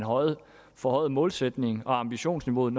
forhøjede målsætningen og ambitionsniveauet